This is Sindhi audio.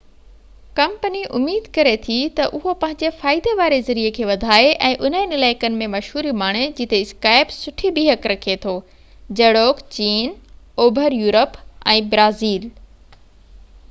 ڪمپني اميد ڪري ٿي تہ اهو پنهنجي فائدي واري ذريعي کي وڌائي ۽ انهن علائقن ۾ مشهوري ماڻي جتي اسڪائپ سٺي بيهڪ رکي ٿو جهڙوڪ چين اوڀر يورپ ۽ برازيل